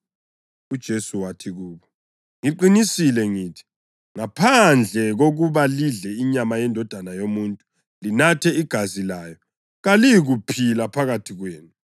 UJesu wathi kubo, “Ngiqinisile ngithi, ngaphandle kokuba lidle inyama yeNdodana yoMuntu, linathe igazi layo, kalilakuphila phakathi kwenu.